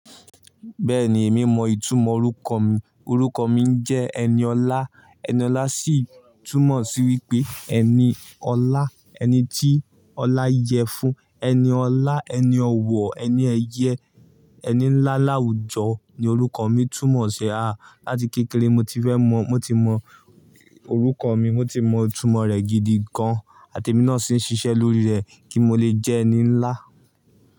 Bẹ́ẹ̀ni, èmi mọ ìtumọ̀ orúkọ mi. Orúkọ mi ń jẹ́ Eniolá, Eniolá sì túmọ̀ sí wípé ẹni ọlá, ẹni tí ọlá yẹ fun, ẹni ọlá, ẹni ọ̀wọ̀, ẹni ẹyẹ, ẹni ńlá láwùjọ ni orúkọ mi túmọ̀ sí. A, láti kékeré mo ti fẹ́ mọ̀, mo ti mọ orúkọ mi, mo ti mọ ìtumọ̀ rẹ̀ gidi gan, àti èmi náà sì ń ṣiṣẹ́ lórí rẹ̀ kí n lè jẹ́ ẹni ńlá.